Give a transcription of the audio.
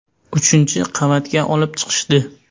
Uchinchi qavatga olib chiqishdi.